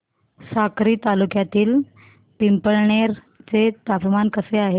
साक्री तालुक्यातील पिंपळनेर चे तापमान कसे आहे